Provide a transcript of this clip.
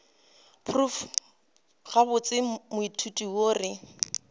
prof gabotse moithuti yo re